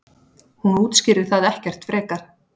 Hún útskýrir það ekkert frekar.